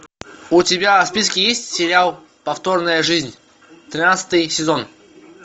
у тебя в списке есть сериал повторная жизнь тринадцатый сезон